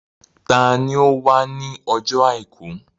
Ta ni ó wà ní ọjọ́ àìkú?